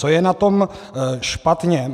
Co je na tom špatně?